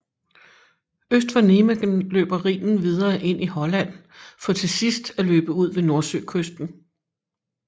Øst for Nijmegen løber Rhinen videre ind i Holland for til sidst at løbe ud ved Nordsøkysten